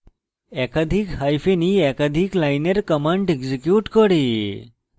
একাধিক hyphen e একাধিক লাইনের commands execute করে